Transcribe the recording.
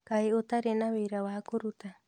Kaĩ ũtarĩ na wĩra wa kũruta?